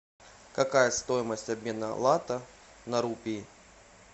какая стоимость обмена лата на рупии